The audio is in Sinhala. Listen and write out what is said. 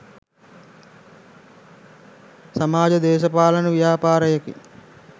සමාජ දේශපාලන ව්‍යාපාරයකින්